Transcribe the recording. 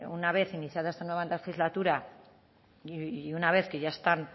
una vez iniciada esta nueva legislatura y una vez que ya están